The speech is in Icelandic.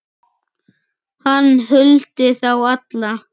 Hann huldi þá alla